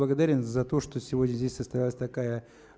благодарен за то что сегодня здесь состоялась такая